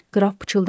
Qraf pıçıldadı.